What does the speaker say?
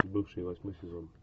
бывшие восьмой сезон